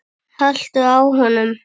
haltu á honum!